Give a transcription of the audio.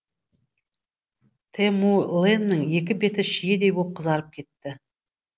тэмүлэннің екі беті шиедей боп қызарып кетті